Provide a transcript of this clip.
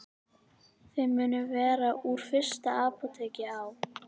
Þau munu vera úr fyrsta apóteki á